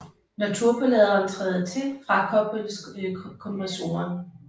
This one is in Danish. Når turboladeren træder til frakobles kompressoren